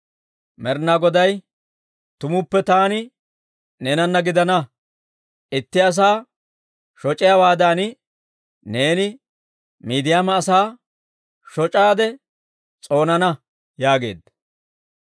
Med'inaa Goday, «Tumuppe taani neenana gidana; itti asaa shoc'iyaawaadan, neeni Miidiyaama asaa shoc'aade s'oonana» yaageedda.